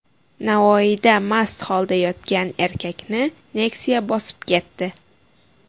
Navoiyda mast holda yo‘lda yotgan erkakni Nexia bosib ketdi.